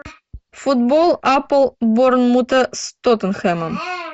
футбол апл борнмута с тоттенхэмом